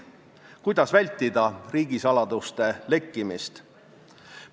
Kuidas vältida riigisaladuste lekkimist?